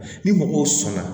Ni mɔgɔw sɔnna